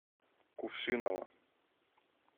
кувшиново